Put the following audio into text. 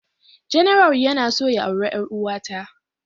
General yana so ya aure ƴaruwa ta.